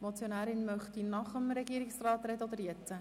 Die Motionärin möchte nach dem Regierungsrat sprechen.